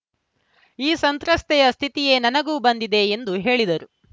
ಆ ಸಂತ್ರಸ್ತೆಯ ಸ್ಥಿತಿಯೇ ನನಗೂ ಬಂದಿದೆ ಎಂದು ಹೇಳಿದರು